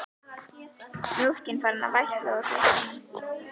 Mjólkin farin að vætla úr brjóstunum.